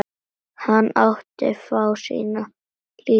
Hann átti fáa sína líka.